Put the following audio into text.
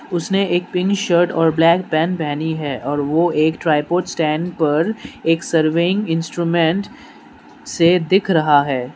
उसने एक pink shirt और ब्लैक पैंट पहनी है और वो एक ट्राइपॉड स्टैंड पर एक सर्वेइंग इंस्ट्रूमेंट से दिख रहा है।